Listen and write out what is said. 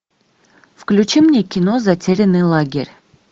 включи мне кино затерянный лагерь